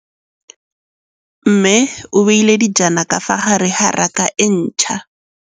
Mmê o beile dijana ka fa gare ga raka e ntšha.